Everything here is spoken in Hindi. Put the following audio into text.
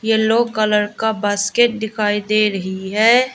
येलो कलर का बास्केट दिखाई दे रही है।